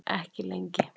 Ekki lengi.